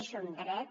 és un dret